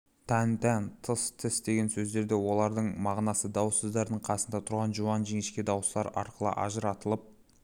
тан тән тыс тіс деген сөздерде олардың мағынасы дауыссыздардың қасында тұрған жуан-жіңішке дауыстылар арқылы ажыратылып